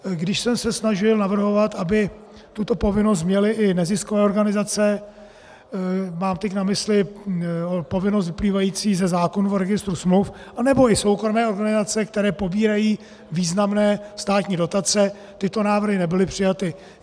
Když jsem se snažil navrhovat, aby tuto povinnost měly i neziskové organizace, mám teď na mysli povinnost vyplývající ze zákona o registru smluv, anebo i soukromé organizace, které pobírají významné státní dotace, tyto návrhy nebyly přijaty.